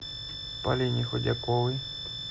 полине худяковой